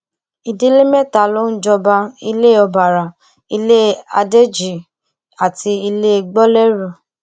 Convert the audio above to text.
ìdílé mẹta ló ń jọba ilẹ ọbaará ilé adéjì àti ilé gbolérù